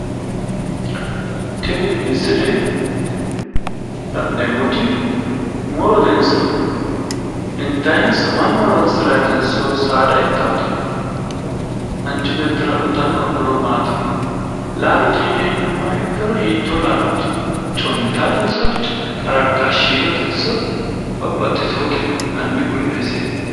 Tini misile la'neemmoti murotenso intaayinso? Mannu horoonsiraatenso saada ittaate? manchi beettira uuyitanno horo maati? laalote yine hendummoro hiitoo laalooti? coommitaattenso qaraartaawoote shiilotenso babbaxxitewoote maati hanni hiittoote ku'le'e ise?